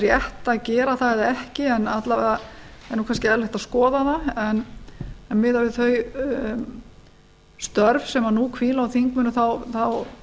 sé að gera það eða ekki en alla vega er kannski eðlilegt að skoða það en miðað við þau störf sem nú hvíla á þingmönnum þá